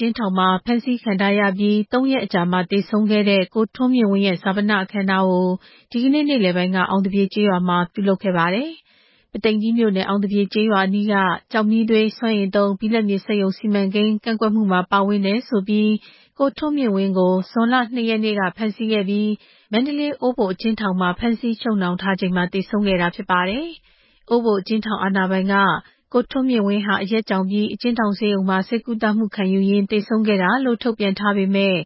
ကျဉ်းထောင်မှာ ဖမ်းဆီးခံထားရပြီး သုံးရက်အကြာမှာ သေဆုံးခဲ့တဲ့ ကိုထွန်းမြင့်ဝင်း ရဲ့ ဈာပနအခမ်းအနားကို ဒီနေ့ နေ့လည်ပိုင်းက အောင်သပြေကျေးရွာမှာ ပြုလုပ်ခဲ့ပါတယ်။ ကိုထွန်းမြင့်ဝင်းဟာ အောင်သပြေကျေးရွာအနီးက ကျောက်မီးသွေးစွမ်းအင်သုံး ဘိလပ်မြေစက်ရုံ စီမံကိန်းကန့်ကွက်မှုမှာ ပါဝင်တယ်ဆိုပြီး ဇွန်လ ၂ရက်နေ့မှာ ဖမ်းဆီးခံခဲ့ရပြီး မန္တလေး အိုးဘို အကျဉ်းထောင်မှာ ချုပ်နှောင်ထားချိန်မှာ သေဆုံးခဲ့တာ ဖြစ်ပါတယ်။ အိုးဘိုအကျဉ်းထောင်အာဏာပိုင်က ကိုထွန်းမြင့်ဝင်းဟာ အရက်ကြောင်ပြီး အကျဉ်းထောင် ဆေးရုံမှာ ဆေးကုသမှုခံယူရင်း သေဆုံးခဲ့တာလို့ ထုတ်ပြန်ထားပေမယ့်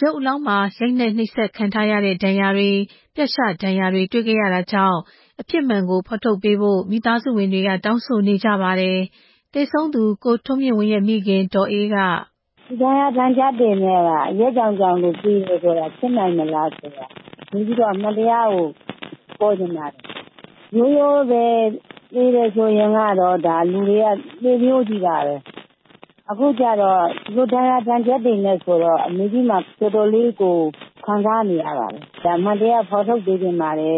ရုပ်အလောင်းမှာ ရိုက်နှက် နှိပ်စက်ခံထားရတဲ့ ဒဏ်ရာတွေ၊ ပြတ်ရှဒဏ်ရာတွေ တွေ့ရတာကြောင့် အဖြစ်မှန်ကို ဖော်ထုတ်ပေးဖို့ မိသားစုဝင်တွေက တောင်းဆိုနေကြပါတယ်။ သေဆုံးသူ ကိုထွန်းမြင့်ဝင်းရဲ့မိခင် ဒေါ်အေးက... “ ဒီဒဏ်ရာဒဏ်ချက်တွေက အရက်ကြောင်ကြောင်လို့သေတယ်ဆိုတာ ဖြစ်နိုင်ပါ့မလားဆိုတာ။ အမှန်တရားကိုပေါ်ချင်တာ။ ရိုးရိုးပဲ သေတယ်ဆိုရင်ကတော့ လူတွေက သေမျိုးချည်းပါပဲ။ အခု ကတော့ ဒဏ်ရာတွေနဲ့ဆိုတော့ အမေကြီးတော်တော်ခံစားရပါတယ်။ အမှန်တရားပေါ်ပေါက်အောင် တောင်းဆိုချင်ပါတယ်”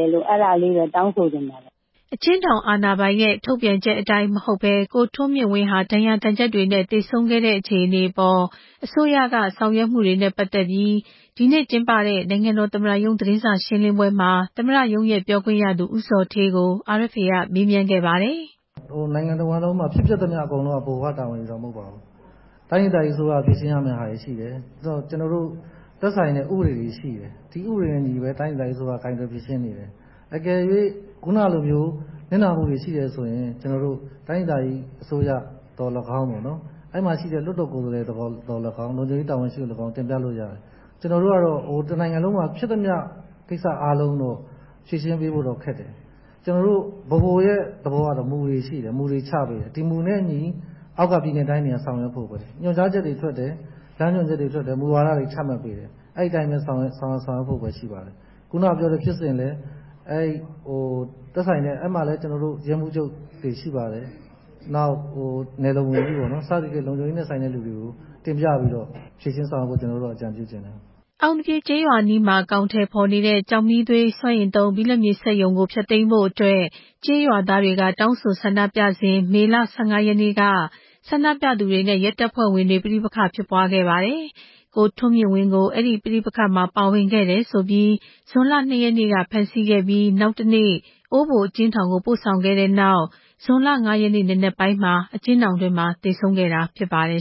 အကျဉ်းထောင်အာဏာပိုင်ရဲ့ထုတ်ပြန်ချက်အတိုင်းမဟုတ်ဘဲ ကိုထွန်းမြင့်ဝင်းဟာ ဒဏ်ရာဒဏ်ချက် တွေနဲ့ သေဆုံးခဲ့တဲ့အခြေအနေအပေါ် အစိုးရက ဆောင်ရွက်မှုတွေနဲ့ပတ်သက်ပြီး ဒီနေ့ကျင်းပတဲ့ နိုင်ငံတော်သမ္မတရုံး သတင်းစာရှင်းလင်းပွဲမှာ သမ္မတရုံးပြောခွင့်ရသူ ဦးဇော်ဌေးကို RFA က မေးမြန်းတဲ့အခါ... “ နိုင်ငံတဝှမ်းလုံးမှာ ဖြစ်ပျက်သမျှအကုန်လုံးက ဗဟိုကတာဝန်ယူတာမဟုတ်ဘူး။ တိုင်းဒေသကြီးက တာဝန်ယူရမဲ့ဟာတွေရှိတယ်။ ကျနော်တို့ သက်ဆိုင်တဲ့ဥပဒေတွေရှိတယ်။ ဒီဥပဒေနဲ့အညီပဲ တိုင်းဒေသကြီးအစိုးရက ကိုင်တွယ်ဖြေရှင်းနေတယ်။ တကယ်လို့ ခုနလိုမျိုး နစ်နာမှုတွေရှိတယ်ဆိုရင် တိုင်းဒေသကြီးအစိုးရသော်လည်းကောင်း အဲဒီမှာရှိတဲ့ လွှတ်တော်ကိုယ်စားလှယ်သော်လည်းကောင်း လုံခြုံရေးတာဝန်ရှိသူကိုသော်လည်းကောင်း တင်ပြလို့ရတယ်။ ကျနော်တို့ကတော့ တနိုင်ငံလုံးမှာ ဖြစ်သမျှကိစ္စအားလုံးကို ဖြေရှင်းပေးဖို့ကခက်တယ်။ ကျနော်တို့ ဗဟိုရဲ့သဘောက မူတွေရှိတယ်။ မူတွေချပေးတယ်။ ဒီမူနဲ့အညီ အောက်ကပြည်နယ်တိုင်းတွေက ဆောင်ရွက်ဖို့ပဲ။ ညွှန်ကြားချက်တွေ ထွက်တယ်။ လမ်းညွှန်ချက်တွေထွက်တယ်။ မူဝါဒတွေချမှတ်ပေးတယ်။ အဲဒီအတိုင်းပဲ ဆောင်ရွက်ဖို့ပဲ ရှိတယ်။ ခုနဖြစ်စဉ်လည်း သက်ဆိုင်တဲ့ အဲဒီမှာရဲမှုးချုပ်တွေရှိပါတယ်။ နောက် နယ်လုံဝန်ကြီးပေါ့နော် စသဖြင့် လုံခြုံရေးနဲ့ဆိုင်တဲ့သူတွေကို တင်ပြပြီးတော့ ဖြေရှင်းဆောင်ရွက်ဖို့ အကြံပြုချင်တယ်” မန္တလေးတိုင်း ပုသိမ်ကြီးမြို့နယ် အောင်သပြေကျေးရွာအနီးမှာ အကောင်အထည်ဖော်နေတဲ့ ကျောက်မီးသွေးစွမ်းအင်သုံး ဘိလပ်မြေစက်ရုံကို ဖျက်သိမ်းဖို့အတွက် ကျေးရွာသားတွေက တောင်းဆိုဆန္ဒပြစဉ် မေလ ၁၅ ရက်နေ့က ဆန္ဒပြသူတွေနဲ့ ရဲတပ်ဖွဲ့ဝင်တွေ ပဋိပက္ခဖြစ်ပွားခဲ့ပါတယ်။ ကိုထွန်းမြင့်ဝင်းကို အဲဒီ ပဋိပက္ခမှာ ပါဝင်ခဲ့တယ်ဆိုပြီး ဇွန်လ ၂ ရက်နေ့က ဖမ်းဆီးခဲ့ပြီး နောက်တနေ့ အိုးဘိုအကျဉ်းထောင်ကို ပို့ဆောင်ခဲ့တဲ့နောက် ဇွန်လ ၅ ရက်နေ့ နံနက်ပိုင်းမှာ အကျဉ်းထောင် အတွင်းမှာ သေဆုံးခဲ့တာ ဖြစ်ပါတယ်